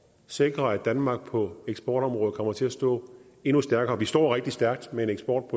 sikre at danmark på eksportområdet kommer til at stå endnu stærkere vi står rigtig stærkt med en eksport